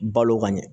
Balo ka ɲɛ